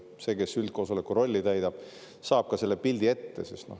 See, kes üldkoosoleku rolli täidab, saab siis ka selle pildi ette.